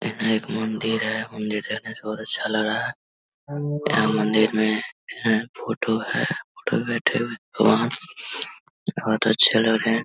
यहाँ एक मंदिर है। मंदिर बोहोत अच्छा लग यह मंदिर में एक फोटो है। फोटो में भगवान जी बोहोत अच्छे लग रहे हैं।